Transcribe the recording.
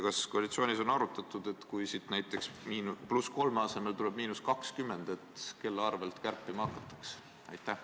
Kas koalitsioonis on arutatud, et kui siit näiteks +3% asemel tuleb –20%, siis kelle arvelt kärpima hakatakse?